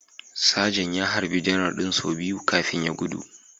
Sajan ya harbi Janar din sau biyu kafin ya gudu